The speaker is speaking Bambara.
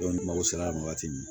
ni mago sera yan wagati min